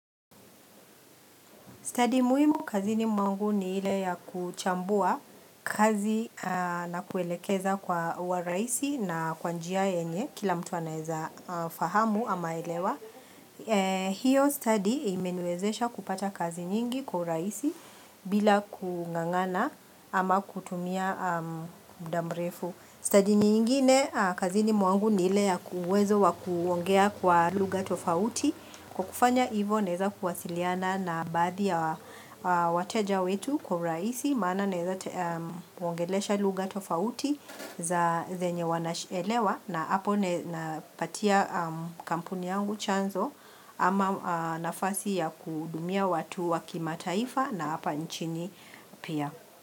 Study muhimu kazini mwangu ni ile ya kuchambua kazi na kuelekeza kwa wa rahisi na kwa njia yenye kila mtu anaeza fahamu ama elewa. Hiyo study imeniwezesha kupata kazi nyingi kwa urahisi bila kungangana ama kutumia muda mrefu. Study nyingine kazini mwangu ni ile ya uwezo wa kuongea kwa lugha tofauti. Kwa kufanya hivyo naeza kuwasiliana na baadhi ya wateja wetu kwa urahisi maana naeza kuongelesha lugha tofauti za zenye wanaelewa na hapo napatia kampuni yangu chanzo ama nafasi ya kuhudumia watu wa kimataifa na hapa nchini pia.